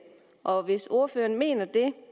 og hvis ordføreren mener det